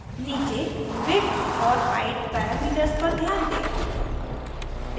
नीचे width और height parameters पर ध्यान दें